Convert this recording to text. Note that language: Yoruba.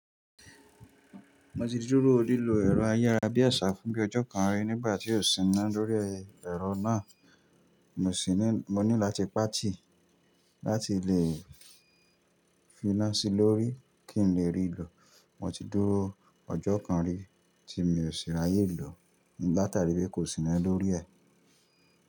Mo ti dúró lílo ẹ̀rọ ayára bí àṣá fún bí ọjọ́ kan rí nígbà tí ó síná lórí ẹ̀rọ náà. Mo sì ní, mo nílò láti pàtì láti lè fi iná sí i lórí kí n lè rí lo. Mo ti dúró ọjọ́ kan rí tí mi ò sì ráyè lọ nígbà tàbí pé kò síná lórí ẹ̀.